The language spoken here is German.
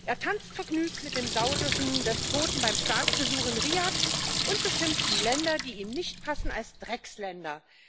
Er tanzt vergnügt mit dem saudischen Despoten beim Staatsbesuch in Riad und beschimpft die Länder, die ihm nicht passen, als Drecksländer.